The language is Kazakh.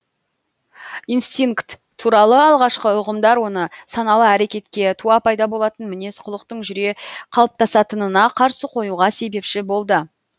инстинкт туралы алғашқы ұғымдар оны саналы әрекетке туа пайда болатын мінез құлықтың жүре қалыптасатынына қарсы қоюға себепші болды